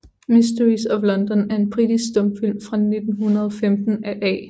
Mysteries of London er en britisk stumfilm fra 1915 af A